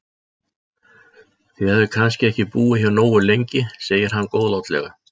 Þið hafið kannski ekki búið hér nógu lengi segir hann góðlátlega.